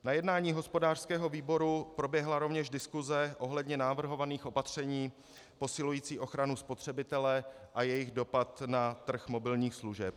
Na jednání hospodářského výboru proběhla rovněž diskuse ohledně navrhovaných opatření posilujících ochranu spotřebitele a jejich dopad na trh mobilních služeb.